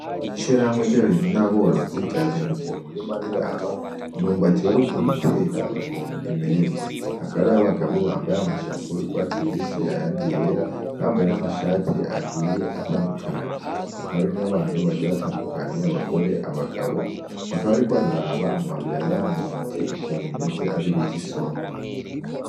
Ishirahamwe ry'abarimyi n'aborozi ryazindukiye mu murima riraba imyumbati baheruka gutera ukuntu imerewe. Hakaba hariyo abagabo bambaye amashapo y'ugwatsi rubisi ayandi yera, bakaba bambaye n'amashati agiye atandukanye; hakaba hari n'abantu bagiye batandukanye abagore, abagabo bakaba bariko bararaba amababi yayamyumbati ukuntu imeze ariyo bita isombe.